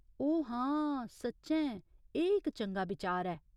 ओ हां, सच्चैं एह् इक चंगा बिचार ऐ।